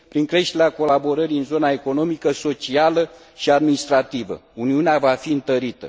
Prin creșterea colaborării în zona economică, socială și administrativă, Uniunea va fi întărită.